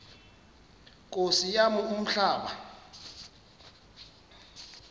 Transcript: nkosi yam umhlaba